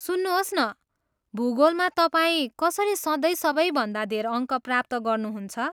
सुन्नुहोस् न, भूगोलमा तपाईँ कसरी सधैँ सबैभन्दा धेर अङ्क प्राप्त गर्नुहुन्छ?